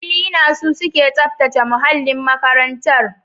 Klina, su suke tsaftace muhallin makarantar.